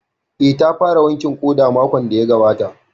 Eh, ta fara wankin ƙoda makon da ya gabata